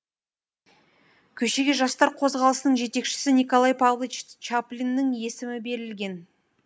көшеге жастар қозғалысының жетекшісі николай павлович чаплиннің есімі берілген